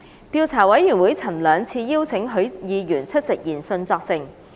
調查委員會曾兩次邀請許議員出席研訊作證。